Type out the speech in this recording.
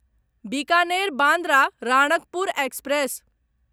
Bikaner Bandra Ranakpur express